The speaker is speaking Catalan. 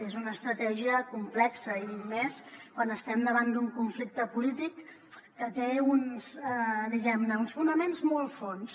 és una estratègia complexa i més quan estem davant d’un conflicte polític que té uns fonaments molt fondos